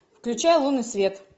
включай лунный свет